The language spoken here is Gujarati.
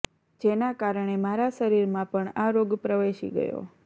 જેના કારણે મારા શરીરમાં પણ આ રોગ પ્રવેશી ગયો